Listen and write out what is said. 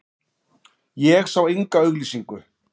Ég sá enga auglýsingu.